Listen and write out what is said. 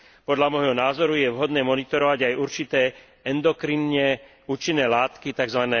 Podľa môjho názoru je vhodné monitorovať aj určité endokrinné účinné látky, tzv.